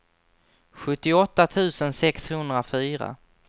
sjuttioåtta tusen sexhundrafyra